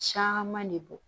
Caman de bɔ